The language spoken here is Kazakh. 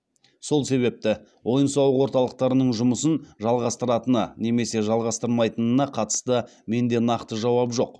сол себепті ойын сауық орталықтарының жұмысын жалғастыратыны немесе жалғастырмайтынына қатысты менде нақты жауап жоқ